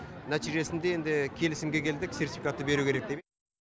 нәтижесінде енді келісімге келдік сертификатты беру керек деп